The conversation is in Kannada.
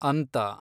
ಅಂತ